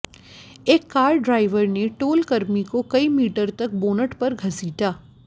एक car driver ने टोलकर्मी को कई मीटर तक बोनट पर घसीटा